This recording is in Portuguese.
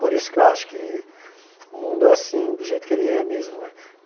Por isso que eu acho que o mundo é assim, do jeito que ele é mesmo né.